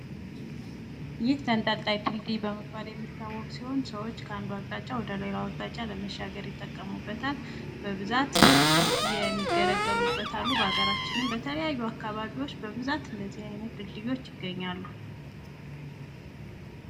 ይህ ተንጠልጣይ ድልድይ በመባል የሚታወቅ ሲሆን ሰዎች ከአንዱ አቅጣጫ ወደ ሌላ አቅጣጫ ለመሻገር ይጠቀሙበታል ። በብዛት የሚገለገሉበት አሉ ። በሀገራችንም በተለያዩ አካባቢዎች በብዛት እንደዚህ አይነት ድልድዮች ይገኛሉ ።